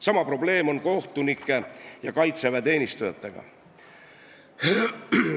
Sama probleem on kohtunike ja Kaitseväe teenistujatega.